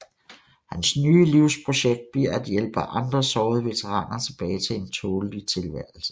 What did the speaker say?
Hans nye livsprojekt bliver at hjælpe andre sårede veteraner tilbage til en tålelig tilværelse